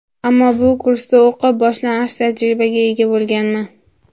Ammo bu kursda o‘qib, boshlang‘ich tajribaga ega bo‘lganman.